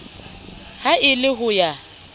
ha e le ho ya